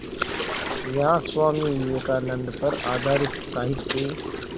यहाँ स्वामी विवेकानंद पर आधारित साहित्य